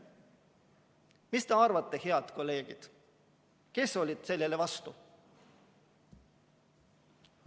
Mis te arvate, head kolleegid, kes olid sellele vastu?